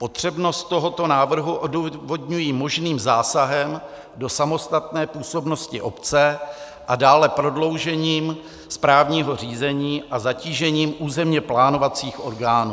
Potřebnost tohoto návrhu odůvodňují možným zásahem do samostatné působnosti obce a dále prodloužením správního řízení a zatížením územně plánovacích orgánů.